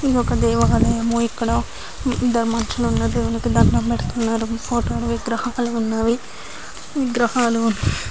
ఇదొక దేవాలయము ఇక్కడ ఇద్దరు మనుషులు ఉన్నారు దేవునికి దండం పెడుతున్నారు. ఫోటోలు విగ్రహాలు ఉన్నవి విగ్రహాలు --